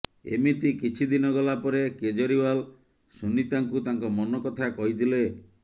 ଏମିତି କିଛି ଦିନ ଗଲା ପରେ କେଜରିଓ୍ୱାଲ ସୁନୀତାଙ୍କୁ ତାଙ୍କ ମନ କଥା କହିଥିଲେ